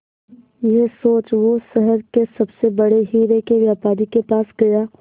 यह सोच वो शहर के सबसे बड़े हीरे के व्यापारी के पास गया